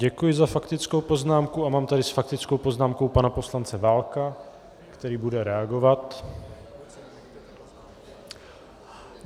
Děkuji za faktickou poznámku a mám tady s faktickou poznámkou pana poslance Válka, který bude reagovat.